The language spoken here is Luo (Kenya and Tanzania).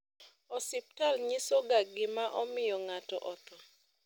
osiptal nyisoga gima omiyo ngato otho